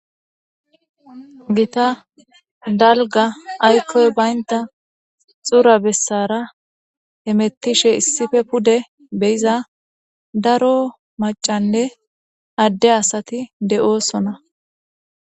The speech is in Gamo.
gita dalga aykoy baynta xura bessara emettishe issife pude beyiza daro macanne adde asati de7oosona